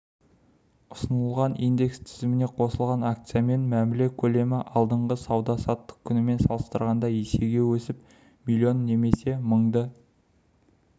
ұсынылған индекс тізіміне қосылған акциямен мәміле көлемі алдыңғы сауда-саттық күнімен салыстырғанда есеге өсіп миллион немесе мыңды